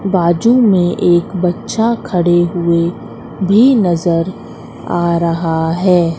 बाजू में एक बच्चा खड़े हुए भी नजर आ रहा है।